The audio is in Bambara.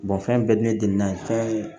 fɛn bɛɛ bɛ ne de na